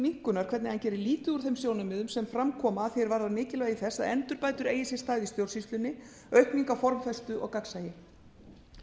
minnkunar hvernig hann gerir lítið úr þeim sjónarmiðum sem fram koma að því er varðar mikilvægi þess að endurbætur eigi sér stað í stjórnsýslunni aukning á formfestu og gagnsæi